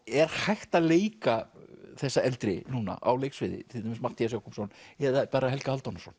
er hægt að leika þessar eldri núna á leiksviði til dæmis Matthías Jochumsson eða bara Helga Hálfdánarson